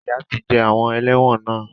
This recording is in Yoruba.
Ìyà ti jẹ àwọn ẹlẹ́wọ̀n náà.